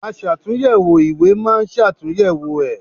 Aṣàtúnyẹ̀wò ìwé máa ṣàtúnyẹ̀wò ẹ̀.